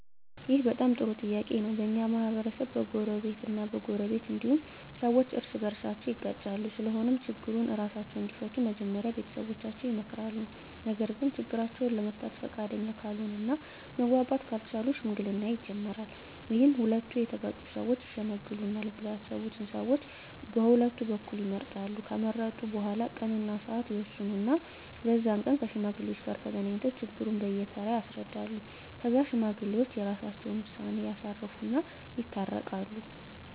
ይህ በጣም ጥሩ ጥያቄ ነው በኛ ማህበረሰብ በጎረቤት እ በጎረቤት እንዲሁም ሠዎች እርስ በርሳቸው ይጋጫሉ ስለሆነም ችግሩን እራሳቸው እንዲፈቱ መጀመሪያ ቤተሠቦቻቸው ይመከራሉ ነገርግ ችግራቸውን ለመፍታት ፈቃደኛ ካልሆነ እና መግባባት ካልቻሉ ሽምግልና ይጀመራል ይህም ሁለቱ የተጋጩ ሠወች ይሽመግሉናል ብለው ያሠቡትን ሠዎች ቀሁለቱ በኩል ይመርጣሉ ከመረጡ በኋላ ቀን እና ስዓት ይወስኑ እና በዛ ቀን ከሽማግሌዎች ጋር ተገናኝተው ችግሩን በየ ተራ ያስረዳሉ ከዛ ሽማግሌዎች የራሰቸውን ውሳኔ ያሳርፉ እና ይታረቃሉ